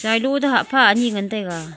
tsailo toh hah pha ani ngan taiga.